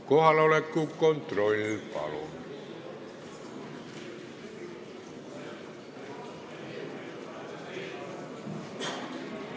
Kohaloleku kontroll, palun!